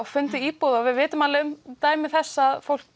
fundið íbúð og við vitum alveg um dæmi þess að fólk